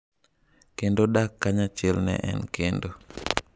"Kendo dak kanyachiel ne en kendo."""